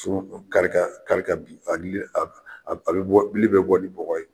Turu ninnu kari kari ka bin , a bili a bɛ bɔ bɛ bili bɔ ni bɔgɔ ye.